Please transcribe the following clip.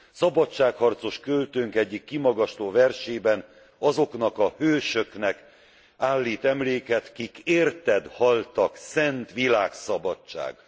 Szabadságharcos költőnk egyik kimagasló versében azoknak a hősöknek állít emléket, Kik érted haltak, szent világszabadság!.